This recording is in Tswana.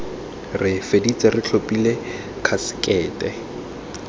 re feditse re tlhophile khasekete